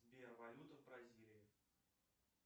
сбер валюта в бразилии